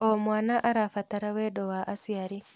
O mwana arabatara wendo wa aciari.